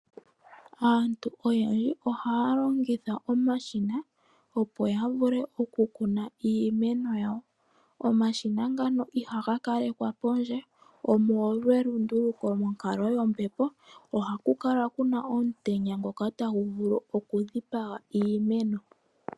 Aantu oyendji ohaya longitha omashina opo yavule okukuna iimeno yawo. Omashina ngaka ihaga kalekwa poondje omolwa elunduluko monkalo yombepo, ohaku kala kuna omutenya ngoka tagu vulu okudhipaga iimeno.